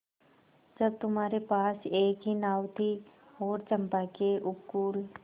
जब तुम्हारे पास एक ही नाव थी और चंपा के उपकूल